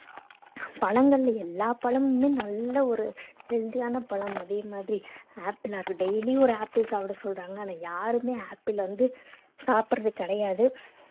பழங்கள்ல எல்லா பழமுமே நல்ல ஒரு healthy யான பழம் அதே மாதிரி ஆப்பிள்ல apple ஆ இருக்கு~ daily ஒரு ஆப்பிள் சாப்பிட சொல்றாங்க ஆனா யாருமே ஆப்பிள வந்து சாப்பிடுறது கிடையாது